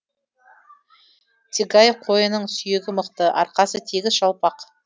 цигай қойының сүйегі мықты арқасы тегіс жалпақ